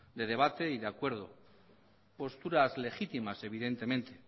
de debate y de acuerdo posturas legítimas evidentemente